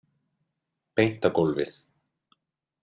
Beint á gólfið.